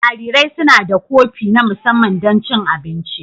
Jarirai suna da kofi na musamman don cin abinci.